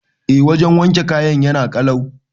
Eh wajan wanke kayan yana kalau